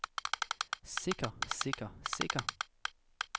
sikker sikker sikker